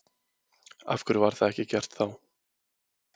Af hverju var það ekki gert þá?